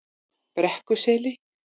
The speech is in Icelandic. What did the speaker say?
Brekkuseli